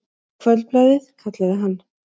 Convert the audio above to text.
Kvöldblaðið, kallaði hann.